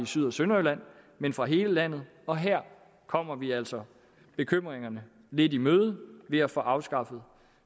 syd og sønderjylland men fra hele landet og her kommer vi altså bekymringerne lidt i møde ved at få afskaffet